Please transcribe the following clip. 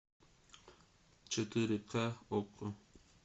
четыре ка окко